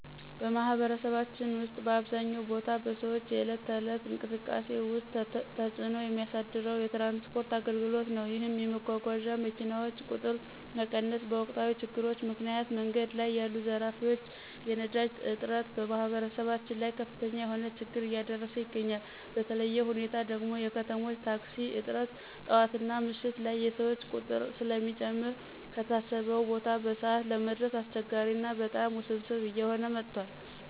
በማህበረሰባችን ውስጥ በአብዛኛው ቦታ በሰዎች የዕለት ተዕለት እንቅስቃሴ ውስጥ ተፅዕኖ የሚያሳድረው የትራንስፖርት አገልግሎት ነዉ። ይህም የመጓጓዣ መኪናዎች ቁጥር መቀነስ፣ በወቅታዊ ችግሮች ምክንያት መንገድ ላይ ያሉ ዘራፊዎች፣ የነዳጅ እጥረት በማህበረሰባችን ላይ ከፍተኛ የሆነ ችግር እያደረሰ ይገኛል። በተለየ ሁኔታ ደግሞ የከተሞች ታክሲ እጥረት ጠዋትና ምሽት ላይ የሰዎች ቁጥር ስለሚጨምር ከታሰበው ቦታ በሰዓት ለመድረስ አስቸጋሪ ና በጣም ውስብስብ እየሆነ መጥቷል።